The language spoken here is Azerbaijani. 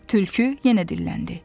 Tülkü yenə dilləndi.